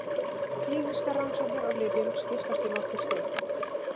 Klínískar rannsóknir á lyfjum skiptast í nokkur stig.